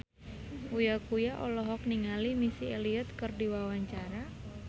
Uya Kuya olohok ningali Missy Elliott keur diwawancara